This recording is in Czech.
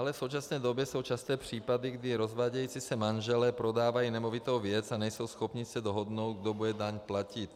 Dále v současné době jsou časté případy, kdy rozvádějící se manželé prodávají nemovitou věc a nejsou schopni se dohodnout, kdo bude daň platit.